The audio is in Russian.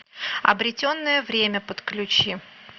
обретенное время подключи